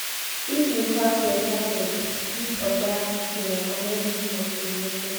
if you pass your target dis oga go recommend you for promotion